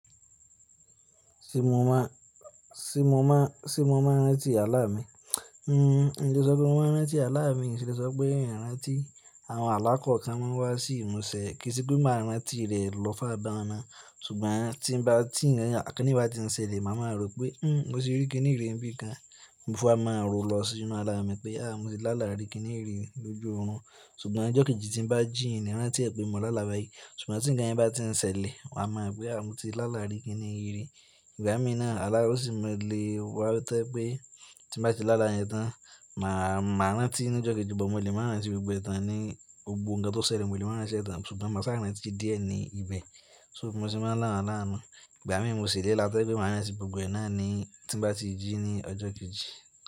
Ṣé mo máa, ṣé mo máa, ṣé mo máa rántí àlá mi? Hmm, n lè sọ pé mo máa rántí àlá mi, n sì lè sọpé pé n rántí, àwọn àlá kòó kan máa wá sí ìmúṣẹ kì sì pé máa rántí rẹ̀ lọ́ far bahun ná ṣùgbọ́n tí ń bá, tí ǹkan kíni bá ti ń ṣẹlẹ̀, màá má rò pé "hmmm mo ti rí kìnìyí rí ń bí kan", ní mo fi wá máa rọ̀ lọ sínú àrá mi pé "àh mo ti lá làárí kìnìyí rí lójú òrun", ṣùgbọ́n ọjọ́ kejì tí ń bá jí, ǹ ní ran tí ẹ pé mo lá làbá yìí, ṣùgbọ́n tí ǹkan yẹn bá ti ń ṣẹlẹ̀, màá mọ̀ pé àh mo ti lá làárí kìnìyí rí. Ìgbà mí náà, àlá ló sì máa lè wá tẹ́ pé tí bá ti lá làá yẹn tán, màá, màá rántí ní ọjọ́ kejì but mo lè máa rántí gbogbo ẹ̀ tán ní gbogbo ǹkan tó ṣẹlẹ̀ mo lè máa rántí ẹ tán, ṣùgbọ́n mà sá kò lè rántí díẹ̀ ní ibẹ̀. So bímo sì máa ń lá awọ̀n àlá nú. Ìgbà mí mo sì lè lá tójẹ́pé màá rántí gbogbo ẹ̀ náà ní tí bá ti jí ní ọjọ́ kejì.